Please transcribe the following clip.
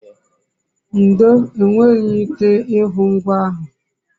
ndo, enweghi m ike ihu ngwa ahu